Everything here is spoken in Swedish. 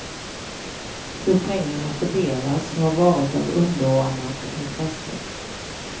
Hur pengarna fördelas har varit av underordnat intresse.